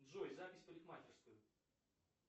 джой запись в парикмахерскую